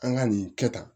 An ka nin kɛ tan